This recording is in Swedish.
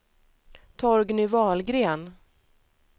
Torgny Wahlgren